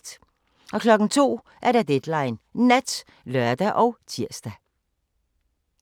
02:00: Deadline Nat (lør og tir)